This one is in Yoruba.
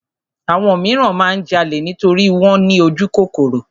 Àwọn míràn máa ń jalè nítorí wọ́n ní ojúkòkòrò.